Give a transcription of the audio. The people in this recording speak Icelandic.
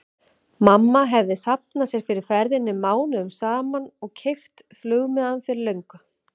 Mamma hefði safnað sér fyrir ferðinni mánuðum saman og keypt flugmiðann fyrir löngu.